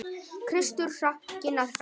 Kristur hrakinn og hæddur.